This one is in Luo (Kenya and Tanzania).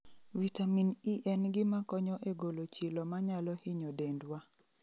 Vitamin E en gima konyo e golo chilo ma nyalo hinyo dendwa